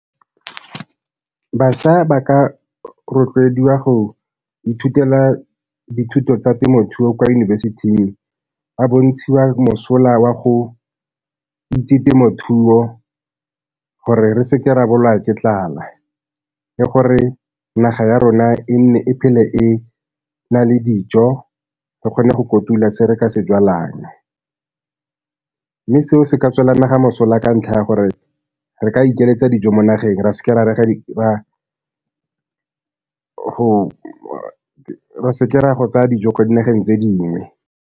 Bašwa ba ka rotloediwa go ithutela dithuto tsa temothuo kwa yunibesithing ba bontshiwa mosola wa go itse temothuo gore re se ke re bolawa ke tlala, le gore naga ya rona e nne e phele e na le dijo re kgone go kotula se re ka se jalang, mme seo se ka tswela naga mosola ka ntlha ya gore re ka ikeletsa dijo mo nageng ra se ke ra go tsaya dijo kwa dinageng tse dingwe.